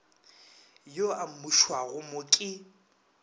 yo a amušwago mo ke